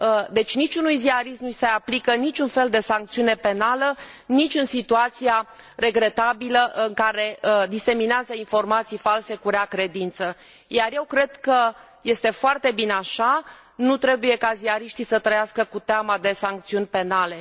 Deci niciunui ziarist nu i se aplică niciun fel de sancțiune penală, nici în situația regretabilă în care diseminează informații false cu rea credință, iar eu cred că este foarte bine așa, nu trebuie ca ziariștii să trăiască cu teama de sancțiuni penale.